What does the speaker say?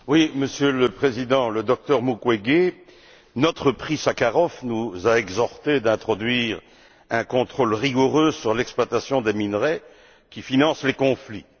Monsieur le Président, le docteur Mukwege, notre Prix Sakharov, nous a exhortés à introduire un contrôle rigoureux sur l'exploitation des minerais qui financent les conflits.